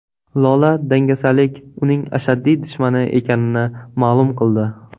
Lola dangasalik uning ashaddiy dushmani ekanini ma’lum qildi.